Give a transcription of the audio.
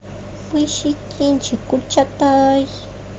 поищи кинчик гюльчатай